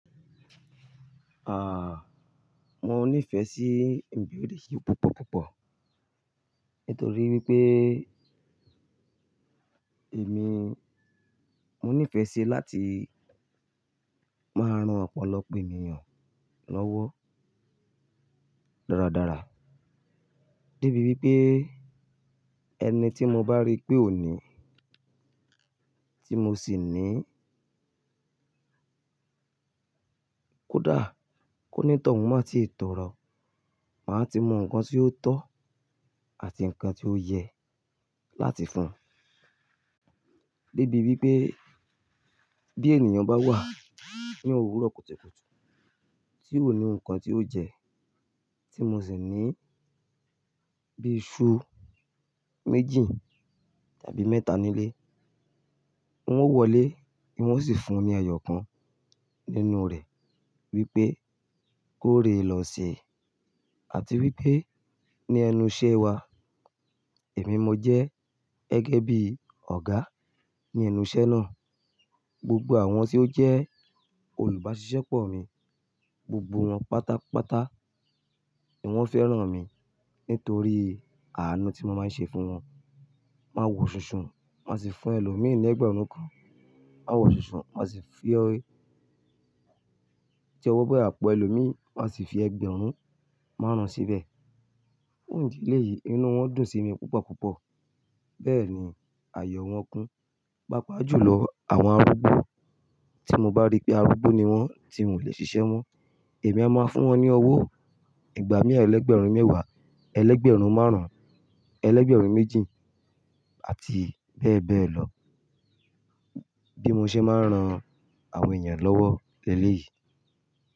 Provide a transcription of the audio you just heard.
Ah, mo ní ìfẹ́ sí ń bí òde yìí púpọ̀ púpọ̀ nítorí wípé èmi, mo ní ìfẹ́ sí láti máa rán ọ̀pọ̀lọpọ̀ ènìyàn lọ́wọ́ dáradára. Débi wípé ẹni tí mo bá rí pé òní tí mo sì ní kódà kó ní tọ̀hún máa tíi tọrọ, màá ti mọ ǹkan tí ó tọ́ àti ǹkan tí ó yẹ láti fún un. Débi wípé bí ènìyàn bá wà ní òwúrọ̀ kùtùkùtù tí ò ní ǹkan tí ó jẹ tí mo sì ní bí iṣu méjì tàbí mẹ́ta nílé, wọn ó wọlé, èmi ó sì fún un ní ẹyọ kan nínú rẹ̀ wípé kó re lọ sè é àti wípé ní ẹnu iṣẹ́ wa, èmi mo jẹ́ gẹ́gẹ́ bí ọ̀gá ní ẹnu iṣẹ́ náà, gbogbo àwọn tí ó jẹ́ olùbáṣiṣẹ́pọ̀ mi, gbogbo wọn pátápátá ni wọ́n fẹ́ràn mi nítorí àánú tí mo máa ń ṣe fún wọn. Ma wọ ṣùnṣun, màá sì fún ẹlòmírìn ẹgbẹ̀rún kan. Ma wọ ṣùnṣun, màá sì fi ọ, tí ẹ wọ bẹ àpọ̀ ẹlòmírìn, màá sì fi ẹgbẹ̀rún márùn-ún síbẹ̀. Ní ìdí eyìí inú wọn dùn sí mi púpọ̀ púpọ̀. Bẹ́ẹ̀ ni ayọ̀ wọn kún. Pápa jù lọ àwọn arúgbó tí mo bá rí pé arúgbó ni wọ́n tí wọ́n ò le ṣiṣẹ́ mọ́, èmi a máa fún wọn ní owó ìgbà mẹíì ẹlẹ́gbẹ̀rún mẹ́wàá, ẹgbẹ̀rún márùn-ún, ẹgbẹ̀rún méjì àti bẹ́ẹ̀ bẹ́ẹ̀ lọ bí mo ṣe máa ń ran àwọn ènìyàn lọ́wọ́ lẹ́lé yìí.